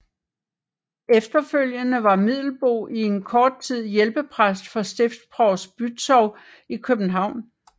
Efterfølgende var Middelboe i en kort tid hjælpepræst hos stiftsprovst Bützow i København